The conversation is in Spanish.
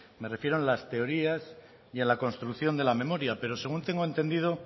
me refiero en las teorías y en la construcción de la memoria pero según tengo entendido